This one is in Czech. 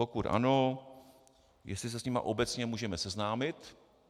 Pokud ano, jestli se s nimi obecně můžeme seznámit.